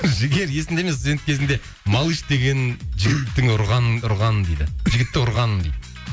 жігер есіңде ме студент кезіңде малыш деген жігітті ұрғаның дейді